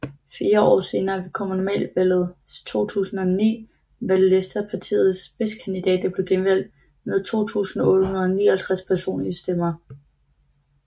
Fire år senere ved Kommunalvalget 2009 var Lester partiets spidskandidat og blev genvalgt med 2859 personlige stemmer